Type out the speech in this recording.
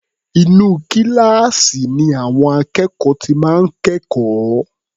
Inú kíláàsì ni àwọn akẹ́kọ̀ọ́ ti máa ń kẹ́kọ̀ọ́.